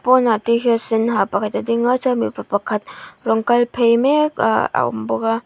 pawnah tshirt sên ha pakhat a ding a chuan mipa pakhat rawn kal phei mek a a awm bawk a.